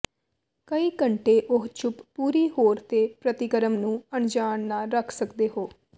ਕਈ ਘੰਟੇ ਉਹ ਚੁੱਪ ਪੂਰੀ ਹੋਰ ਦੇ ਪ੍ਰਤੀਕਰਮ ਨੂੰ ਅਣਜਾਣ ਨਾ ਰੱਖ ਸਕਦੇ ਹੋ